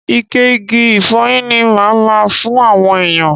Ike igi ìfọyín ni máa ma fún àwọn èèyàn.